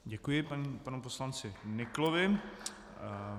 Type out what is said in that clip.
Děkuji panu poslanci Nyklovi.